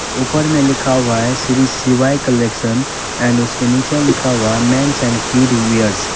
ऊपर में लिखा हुआ है श्री शिवाय कलेक्शन एंड उसके नीचे लिखा हुआ है मेंस एंड किड वियर्स ।